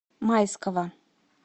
майского